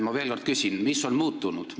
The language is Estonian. Ma küsin veel kord: mis on muutunud?